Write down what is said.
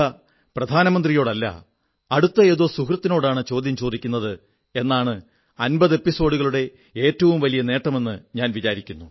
പ്രതിഭ പ്രധാനമന്ത്രിയോടല്ല അടുത്ത ഏതോ സുഹൃത്തിനോടാണ് ചോദ്യം ചോദിക്കുന്നത് എന്നതാണ് 50 എപ്പിസോഡുകളുടെ ഏറ്റവും വലിയ നേട്ടമെന്നു ഞാൻ വിചാരിക്കുന്നു